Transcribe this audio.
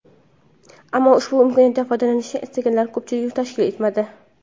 Ammo ushbu imkoniyatdan foydalanishni istaganlar ko‘pchilikni tashkil etmadi.